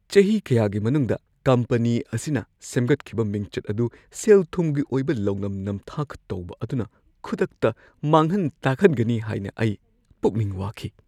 ꯆꯍꯤ ꯀꯌꯥꯒꯤ ꯃꯅꯨꯡꯗ ꯀꯝꯄꯅꯤ ꯑꯁꯤꯅ ꯁꯦꯝꯒꯠꯈꯤꯕ ꯃꯤꯡꯆꯠ ꯑꯗꯨ ꯁꯦꯜ-ꯊꯨꯝꯒꯤ ꯑꯣꯏꯕ ꯂꯧꯅꯝ-ꯅꯝꯊꯥꯛ ꯇꯧꯕ ꯑꯗꯨꯅ ꯈꯨꯗꯛꯇ ꯃꯥꯡꯍꯟ-ꯇꯥꯛꯍꯟꯒꯅꯤ ꯍꯥꯏꯅ ꯑꯩ ꯄꯨꯛꯅꯤꯡ ꯋꯥꯈꯤ꯫